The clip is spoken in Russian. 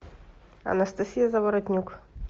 анастасия заворотнюк